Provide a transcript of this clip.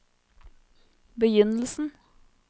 begynnelsen